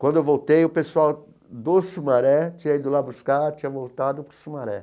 Quando eu voltei, o pessoal do Sumaré tinha ido lá buscar, tinha voltado para o Sumaré.